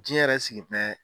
Jiyɛn yɛrɛ sigi